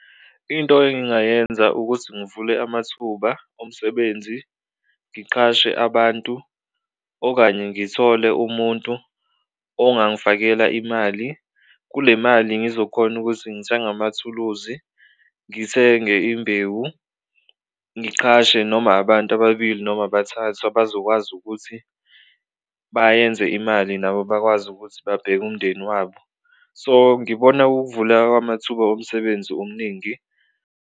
Into engingayenza ukuthi ngivule amathuba omsebenzi ngiqhashe abantu okanye ngithole umuntu ongangifakela imali, kule mali ngizokhona ukuthi ngithenge amathuluzi, ngithenge imbewu, ngiqhashe noma abantu ababili noma bathathu abazokwazi ukuthi bayenze imali nabo bakwazi ukuthi babheke umndeni wabo. So, ngibona kuwukuvuleka kwamathuba omsebenzi omningi.